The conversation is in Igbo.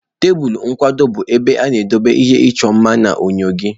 Tebụl nkwado bụ ebe ị na-edobe ihe ịchọ mma na enyo gị.